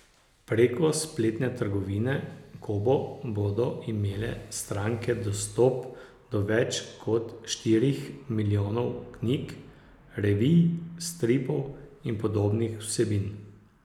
Preko spletne trgovine Kobo bodo imele stranke dostop do več kot štirih milijonov knjig, revij, stripov in podobnih vsebin.